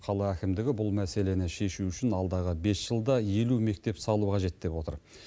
қала әкімдігі бұл мәселені шешу үшін алдағы бес жылда елу мектеп салу қажет деп отыр